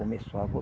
Começou a vol